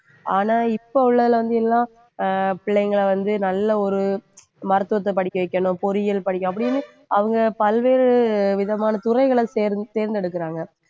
ஆனா இப்ப உள்ளதுல வந்து எல்லாம் ஆஹ் பிள்ளைங்களை வந்து நல்ல ஒரு மருத்துவத்தை படிக்க வைக்கணும், பொறியியல் படிக்கணும் அப்படின்னு அவங்க பல்வேறு விதமான துறைகளைத் தேர்ந்~ தேர்ந்தெடுக்கறாங்க